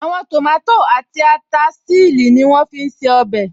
Àwọn tòmátò àti ata ṣílì ní wọ́n fí n ṣe ọbẹ̀